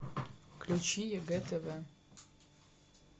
включи егэ тв